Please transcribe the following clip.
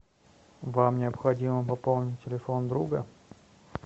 вам необходимо пополнить телефон друга